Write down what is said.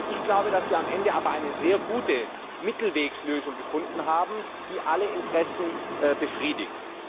Ich glaube aber, dass wir am Ende eine sehr gute Mittelwegslösung gefunden haben, die alle Interessen befriedigt.